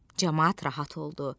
Camaat rahat oldu.